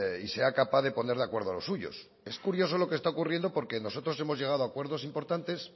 y sea capaz de poner de acuerdo a los suyos es curioso lo que está ocurriendo porque nosotros hemos llegado acuerdo importantes